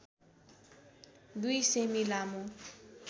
२ सेमि लामो